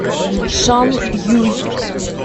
шанъюй